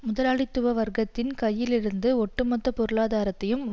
முதலாளித்துவ வர்க்கத்தின் கையிலிருந்து ஒட்டு மொத்த பொருளாதாரத்தையும்